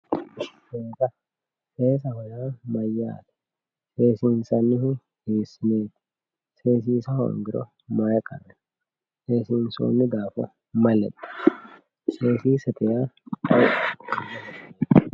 seesaho yaa mayyaate seessinsannihu hiikkuriiti seesiha hoongiro maye gatanno seesisniro maye lexxanno seesiisahu ayeeti